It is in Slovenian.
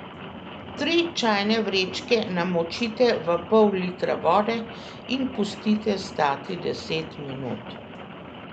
Tri čajne vrečke namočite v pol litra vode in pustite stati deset minut.